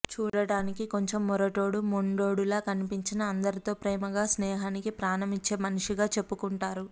చూడానికి కొంచం మొరటోడు మొండోడు లా కనిపించినా అందరితో ప్రేమగా స్నేహానికి ప్రాణం ఇచ్చే మనిషిగా చెప్పుకుంటారు